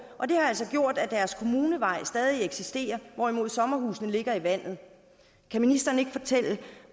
og det har altså gjort at deres kommuneveje stadig eksisterer hvorimod sommerhusene ligger i vandet kan ministeren ikke fortælle